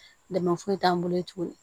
Dɛmɛ foyi t'an bolo ye tuguni